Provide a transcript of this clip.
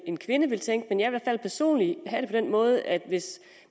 en kvinde ville tænke men jeg ville i fald personligt have det på den måde at hvis